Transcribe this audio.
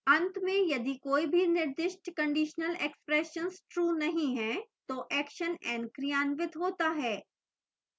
at में यदि कोई भी निर्दिष्ट conditional expressions true नहीं हैं तो action n क्रियान्वित होता है